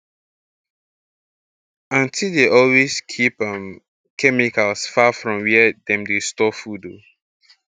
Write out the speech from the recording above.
aunti dey always keep um chemicals far from where dem dey store food oh